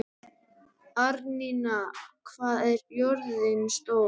Árnína, hvað er jörðin stór?